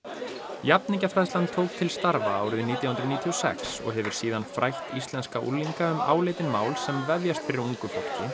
jafningjafræðslan tók til starfa árið nítján hundruð níutíu og sex og hefur síðan frætt íslenska unglinga um áleitin mál sem vefjast fyrir ungu fólki